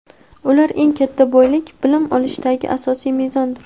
ular eng katta boylik — bilim olishdagi asosiy mezondir.